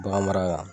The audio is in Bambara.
Bagan mara la